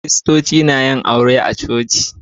Kiritoci na yin aure a coci.